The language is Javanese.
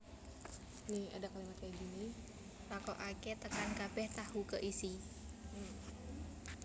Lakokaké tekan kabèh tahu keisi